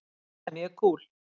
Það er mjög kúl.